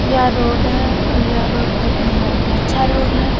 यह रोड है और यह रोड देखने में बहुत ही अच्छा रोड है ।